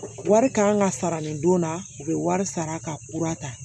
Wari kan ka sara nin don na u bɛ wari sara ka kura ta